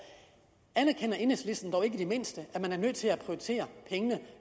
anerkender enhedslisten dog ikke i det mindste at man er nødt til at prioritere pengene